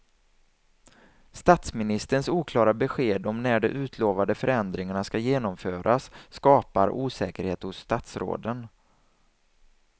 Statsministerns oklara besked om när de utlovade förändringarna ska genomföras skapar osäkerhet hos statsråden.